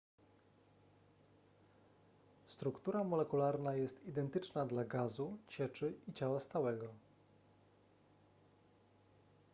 struktura molekularna jest identyczna dla gazu cieczy i ciała stałego